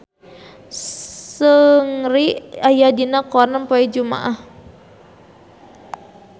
Seungri aya dina koran poe Jumaah